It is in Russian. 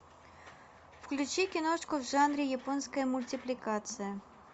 включи киношку в жанре японская мультипликация